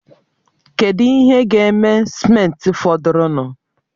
Kedu ihe ga-eme simenti fọdụrụnụ?